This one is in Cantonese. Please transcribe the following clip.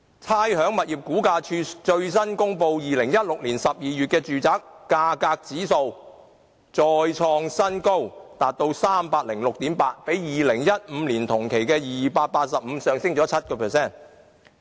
差餉物業估價署最新公布2016年12月的住宅價格指數再創新高，達到 306.8， 較2015年同期的285上升了 7%。